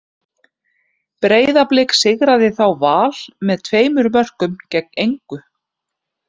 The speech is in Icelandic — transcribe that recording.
Breiðablik sigraði þá Val með tveimur mörkum gegn einu.